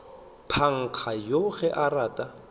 panka yoo ge a rata